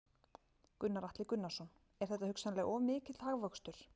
Gunnar Atli Gunnarsson: Er þetta hugsanlega of mikill hagvöxtur?